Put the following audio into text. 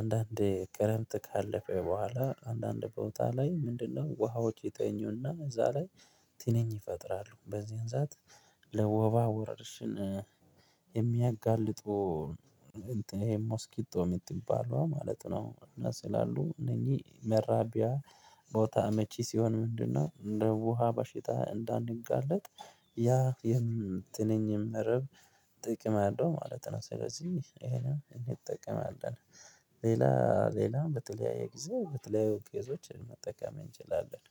አንዳንዴ ክረምት ካለፈ በኋላ አንዳንድ ቦታ ላይ ምንድነው ውሃዎች ይተኙና እዛ ላይ ትንኝ ይፈጥራሉ በዚያን ሰዓት። ለወባ ወረርሽን የሚያጋልጡ ሞስኪቶ የምትባለዋ ማለት ነው። እና ስላሉ እነኝህ መራቢያ ቦታ አመቺ ሲሆን ምንድነው እንደ ውሃ ባሽታ እንዳንጋለጥ። ያ የትንኝ መረብ ጥቅም አለው ማለት ነው። ስለዚህ ይሄንም እንጠቀማለን። ሌላ ሌላ በተለያየ ጊዜ በተለያዩ ቄዞችን መጠቀም እንችላለን